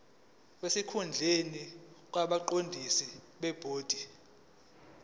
sesikhundleni kwabaqondisi bebhodi